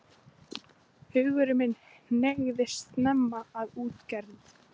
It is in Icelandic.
Hugur minn hneigðist snemma að útgerð.